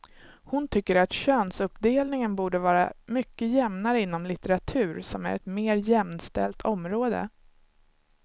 Hon tycker att könsuppdelningen borde vara mycket jämnare inom litteratur, som är ett mer jämställt område.